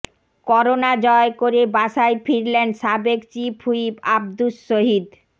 corona জয় করে বাসায় ফিরলেন সাবেক চিফ হুইপ আব্দুস শহীদ